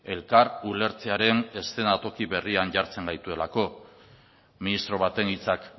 elkar ulertzearen eszenatoki berrian jartzen gaituelako ministro baten hitzak